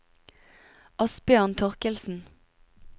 Asbjørn Thorkildsen